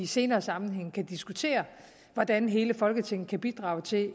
senere sammenhænge kan diskutere hvordan hele folketinget kan bidrage til